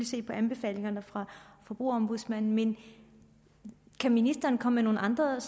se på anbefalingerne fra forbrugerombudsmanden men kan ministeren komme med nogle andre